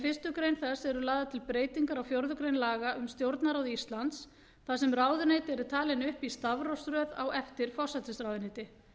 fyrstu greinar þess eru lagðar til breytingar á fjórðu grein laga um stjórnarráð íslands þar sem ráðuneyti eru talin upp í stafrófsröð á eftir forsætisráðuneyti